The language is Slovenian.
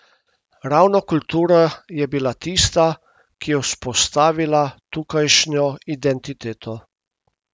Ravno kultura je bila tista, ki je vzpostavila tukajšnjo identiteto.